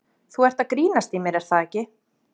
Þú ert að grínast í mér er það ekki?